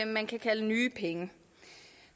man kan kalde nye penge